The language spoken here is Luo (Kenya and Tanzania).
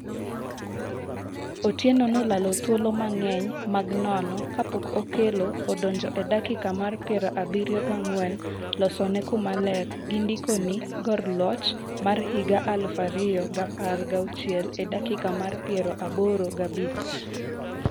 Otieno nolalo thuolo mang'eny mag nono kapok okelo odonjo e dakika mar pier abirio gi ang'wen losone kuma ler gi ndikoni gor loch mar higa mar aluf ariyo gi apar gi auchiel e dakika mar pier aboro gi abich